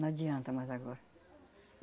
Não adianta mais agora.